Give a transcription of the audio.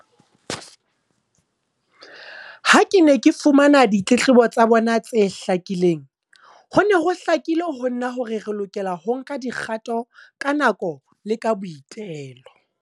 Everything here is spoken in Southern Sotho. Ha ke ne ke fumana ditletlebo tsa bona tse hlakileng, ho ne ho hlakile ho nna hore re lokela ho nka dikgato ka nako le ka boitelo.